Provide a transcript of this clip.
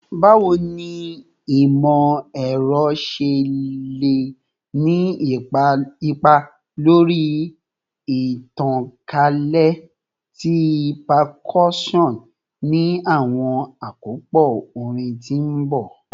Bawo ni imọ-ẹrọ ṣe le ni ipa lori itankalẹ ti percussion ni awọn akopọ orin ti n bọ?